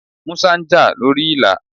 Músá ń jà lórí Ìlà.